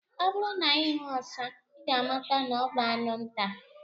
Ọ bụrụ na ihu ọsa, I ga amata na ọ bu anụ nta.